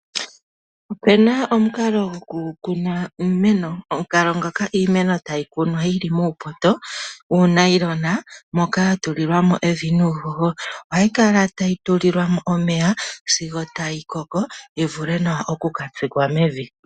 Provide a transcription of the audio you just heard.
Opena omukalo goku kuna iimeno. Omukalo ngoka iimeno tayi kunwa yi li muupoto, uunayilona moka ya tulilwa mo evi nuuhoho. Ohayi kala tayi tulilwa mo omeya sigo tayi koko, yi vule nawa oku ka tsikwa mevi.